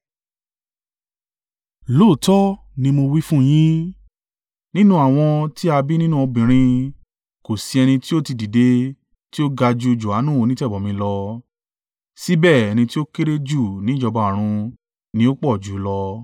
Lóòótọ́ ni mó wí fún yín, nínú àwọn tí a bí nínú obìnrin, kò sí ẹni tí ó tí í dìde tí ó ga ju Johanu onítẹ̀bọmi lọ, síbẹ̀ ẹni tí ó kéré jù ní ìjọba ọ̀run ni ó pọ̀jù ú lọ.